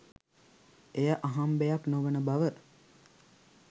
එය අහම්බයක් නොවන බව